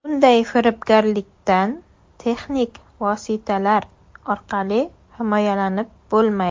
Bunday firibgarlikdan texnik vositalar orqali himoyalanib bo‘lmaydi.